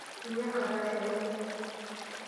Minya enkardasi olayioni.